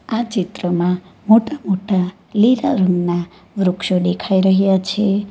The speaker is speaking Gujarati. આ ચિત્રમાં મોટા મોટા લીલા રંગના વૃક્ષો દેખાઈ રહ્યા છે.